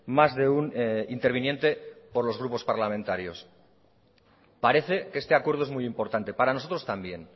más de un interviniente por los grupos parlamentarios parece que este acuerdo es muy importante para nosotros también